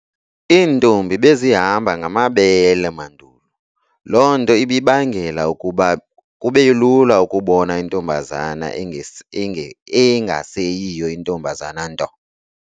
Intombi bezihamba ngamabele mandulo. Loo nto ibibangela ukuba kubelula ukubona intombazana engaseyiyo intombazana nto.